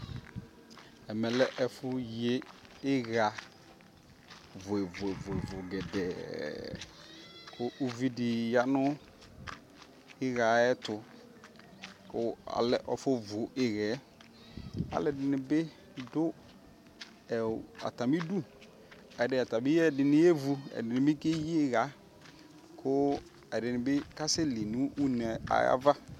ɛmɛ lɛɛƒʋ yi iyaa vʋɛvʋɛ gɛdɛɛ kʋ ʋvidi yanʋ iyaaɛ ayɛtʋ kʋ ɔlɛ aƒɔ vʋ iyaɛ, alʋɛdini dʋ atami idʋ, atabi ɛdini yɛvʋ ɛdini bi kɛyi iya kʋ ɛdini bi kasɛ li nʋ ʋnɛ ayiava